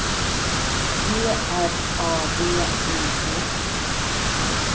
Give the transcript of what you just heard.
G R A V I D